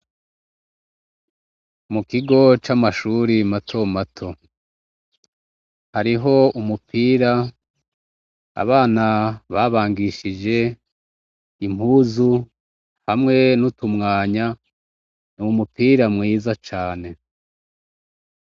Mu kigo c'amashure matomato, hariho umupira abana babangishije impuzu hamwe n'utumwanya, n’umupira mwiza cane.